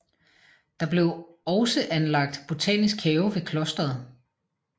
Der blev også anlagt botanisk have ved klosteret